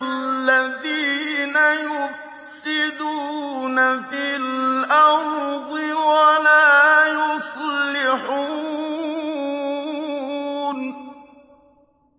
الَّذِينَ يُفْسِدُونَ فِي الْأَرْضِ وَلَا يُصْلِحُونَ